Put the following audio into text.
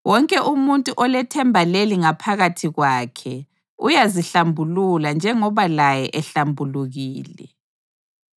Wonke umuntu olethemba leli ngaphakathi kwakhe uyazihlambulula njengoba laye ehlambulukile.